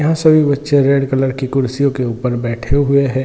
यहाँ सभी बच्चे रेड कलर की कुर्सियों के ऊपर बैठे हुए है।